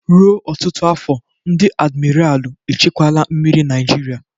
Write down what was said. Ruo ọtụtụ iri afọ, ndị admiralu echekwala mmiri Naijiria.